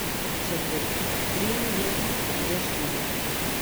Še pred tremi leti so bile štiri.